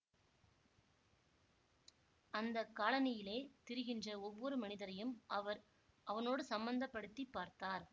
அந்த காலனியிலே திரிகின்ற ஒவ்வொரு மனிதரையும் அவர் அவனோடு சம்பந்தப்படுத்திப் பார்த்தார்